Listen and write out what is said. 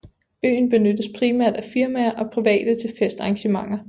Øen benyttes primært af firmaer og private til fest arrangementer